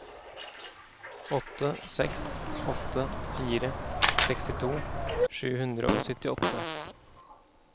åtte seks åtte fire sekstito sju hundre og syttiåtte